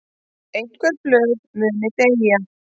Einhver blöð muni deyja